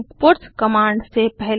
puts command से पहले